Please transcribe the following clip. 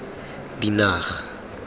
dinaga